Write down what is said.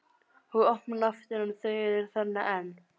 Og opna aftur en þau eru þarna enn.